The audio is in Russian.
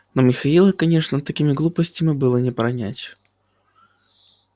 но михаила конечно такими глупостями было не пронять